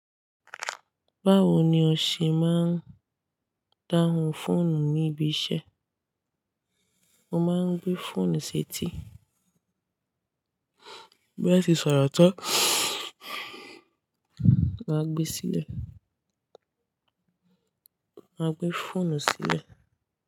Báwo ni o ṣe máa ń dáhùn fóònù ní ibi iṣẹ́? Mo máa ń gbé fóònù sí etíí. Bí ẹ ti sọ̀rọ̀ tán, ma gbé e sílẹ̀. A gbé fóònù sílẹ̀.